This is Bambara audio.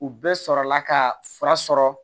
U bɛɛ sɔrɔla ka fura sɔrɔ